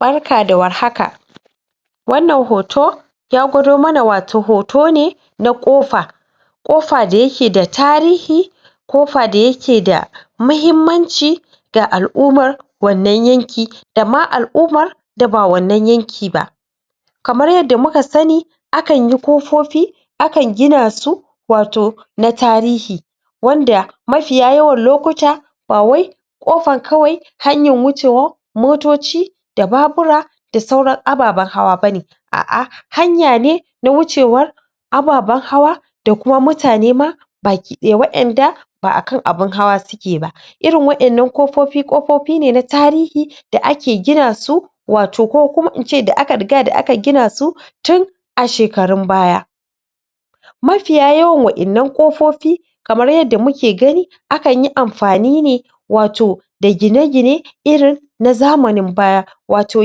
Barka da warhaka wannan hoto ya gwado mana wato hoto ne na ƙofa ƙofa da yake da tarihi ƙofa da yake da mahimmanci da al'ummar wannan yanki dama al'ummar da ba wannan yakin ba kamar yadda muka sani akan yi ƙofofi akan gina su wato na tarihi wanda mafiya yawan lokuta bawai ƙofar kawai hanyar wucewar motoci da babura da sauran ababan hawa bane a'a hanya ne na wucewar ababan hawa da kuma mutane ma baki ɗaya, wa'yan da ba akan abin hawa suke ba, irin wa; yan nan ƙofofi, ƙofofi ne na tarihi da ake gina su wato ko kuma in ce da aka riga aka gini su tun a shekarun baya mafiya yawan wa'yan nan kofofi kamar yadda muke gani akan yi amfnai ne wato da gine-gine irin na zamanin baya wato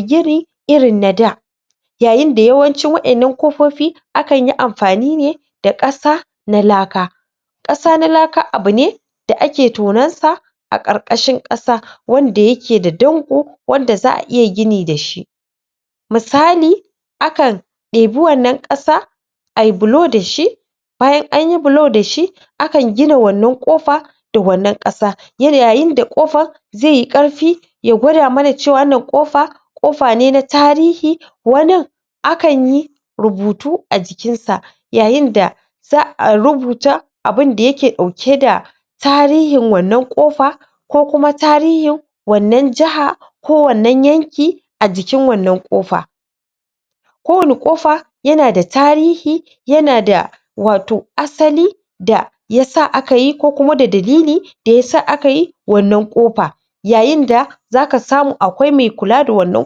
gini irin na da yayin da yawancin wa'yannan ƙofofi akan yi amfani ne da ƙasa na laka ƙasa na laka abu ne da ake tunan sa a ƙarƙashin ƙasa wanda yake da danƙo wanda za'a iya gini dashi misali akan ɗebi wannan ƙasa ai bulo dashi bayan anyi bulo dashi akan gina wannan ƙofa da wannan ƙasa yanayi da ƙofa zai ƙarfi ya gwada mana cewa wannan ƙofa ƙofa ne na tarihi wani akan yi rubutu a jikin sa yayin da za'a rubuta abunda yake ɗauke ba tarihin wannan ƙofa ko kuma tarihin wannan jiha ko wannan yanki a jikin wannan ƙofa wannan ƙofa yana da tarihi yana da wato asali da yasa aka yi ko kuma da dalili da yasa aka yi wannan ƙofa yayin da zaka samu akwai mai kula da wannan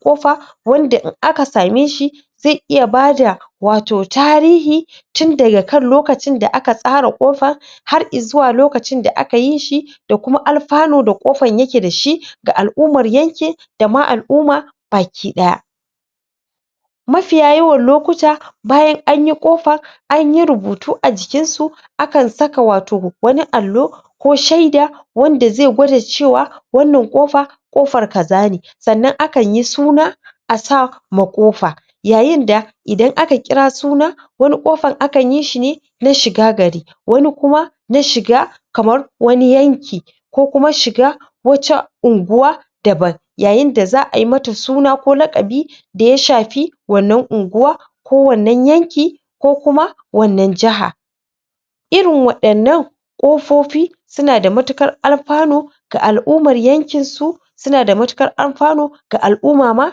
ƙofa wanda in aka same shi zai iya bada wato tarihi tunda daga kan lokacin da aka tsara ƙofa har izuwa lokacin da aka yi shi da kuma alfanu da ƙofar yake dashi ga al'ummar yankin dama al'umma baki ɗaya mafiya yawan lokuta bayan anyi ƙofa anyi rubutu a jikin sa akan saka wato wani allo ko shaida wanda zai gwada cewa wannan ƙofa kofar kaza ne sannan akan yi suna asa ma ƙofa yayin da idan aka kira suna wani kofan akan yi shi ne na shiga gari wani kuma na shiga kamar wani yanki ko kuma shiga wata unguwa daman yayin da za'a yi mata suna ko laƙabi da ya shafi wannan unguwa ko wannan yanki ko kuma wannan jiha irin waɗannan ƙofofi suna da matuƙar alfanu ga al'ummae yankin su suna da matuƙar alfanu ga al'uma ma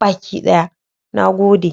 baki ɗaya. Nagode